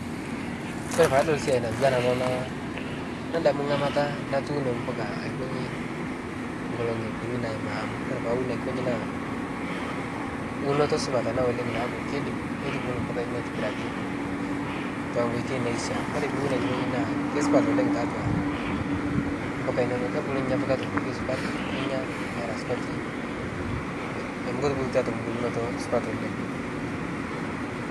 kore paadol siai natuwana ana naa nadamu ngamataa natuuno mpuka aikonyii nkolongi kunii naima amuu kore paawun aikonyi naa unotoo supat oleng naaku keidim neitubulu mpuka inono aitibiraki tonkoitei naishia kore piiwun aikonji naa keisupat oleng taatua mpuka inono kebulu ninye mpuka te nkoitei supat ninya eraa supatii amu ketubulutua te mbulnotoo supat oleng